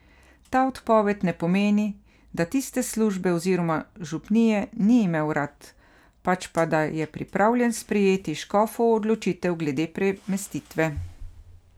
Ta odpoved ne pomeni, da tiste službe oziroma župnije ni imel rad, pač pa da je pripravljen sprejeti škofovo odločitev glede premestitve.